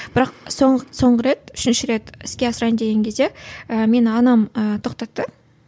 бірақ соңғы рет үшінші рет іске асырайын деген кезде і мені анам ііі тоқтатты